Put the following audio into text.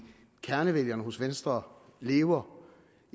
kernevælgerne hos venstre lever